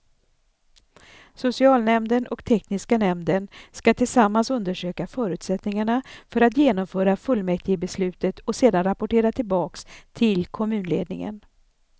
Socialnämnden och tekniska nämnden skall tillsammans undersöka förutsättningarna för att genomföra fullmäktigebeslutet och sedan rapportera tillbaks till kommunledningen.